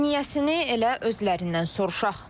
Niyəsini elə özlərindən soruşaq.